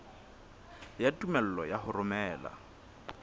ya tumello ya ho romela